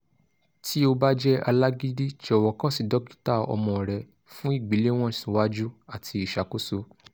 ti o ba jẹ alagidi jọwọ kan si dokita ọmọ rẹ fun igbelewọn siwaju ati iṣakoso